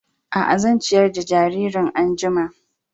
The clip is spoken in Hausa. A a, zan ciyar da jaririn an'jumma.